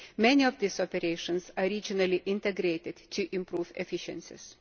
Many of these operations are regionally integrated to improve efficiencies.